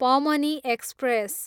पमनी express